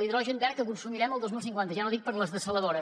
l’hidrogen verd que consumirem el dos mil cinquanta ja no dic per a les dessaladores